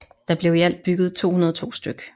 Der blev i alt bygget 202 stk